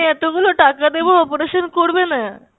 এতগুলো টাকা দেবো operation করবেনা?